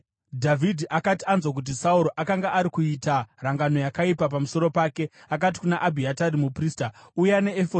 Dhavhidhi akati anzwa kuti Sauro akanga ari kuita rangano yakaipa pamusoro pake, akati kuna Abhiatari muprista, “Uya neefodhi.”